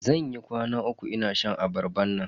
Zan yi kwana uku ina shan abarban nan.